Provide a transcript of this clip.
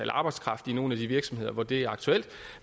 arbejdskraft i nogle af de virksomheder hvor det er aktuelt